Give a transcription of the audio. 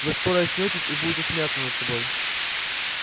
вы скоро очнётесь и будете смеяться над собой